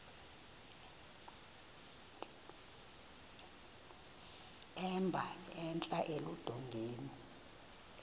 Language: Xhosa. emba entla eludongeni